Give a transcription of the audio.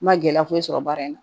N ma gɛlɛya foyi sɔrɔ baara in na